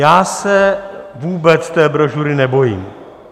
Já se vůbec té brožury nebojím.